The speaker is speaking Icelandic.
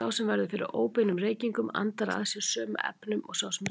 Sá sem verður fyrir óbeinum reykingum andar að sér sömu efnum og sá sem reykir.